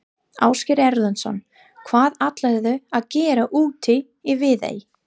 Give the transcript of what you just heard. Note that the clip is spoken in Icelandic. Ásgeir Erlendsson: Hvað ætlarðu að gera úti í Viðey?